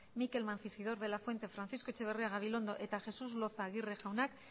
mikel mancisidor de la fuente francisco etxeberria gabilondo eta jesús loza aguirre jaunak